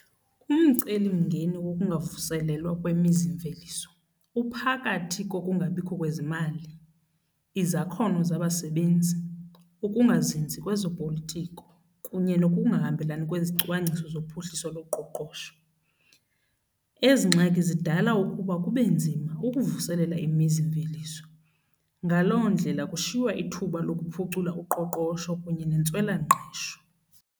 Umcelimngeni wokungavuselelwa kwemizimveliso uphakathi kokungabikho kwezimali, izakhono zabasebenzi, ukungazinzi kwezopolitiko kunye nokungahambelani kwezicwangciso zophuhliso loqoqosho. Ezi ngxaki zidala ukuba kube nzima ukuvuselela imizimveliso, ngaloo ndlela kushiywa ithuba lokuphucula uqoqosho kunye nentswelangqesho.